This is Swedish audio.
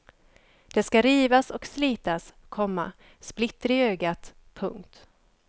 Det ska rivas och slitas, komma splitter i ögat. punkt